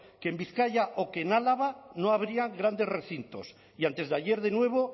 que en bizkaia o que en álava no habría grandes recintos y antes de ayer de nuevo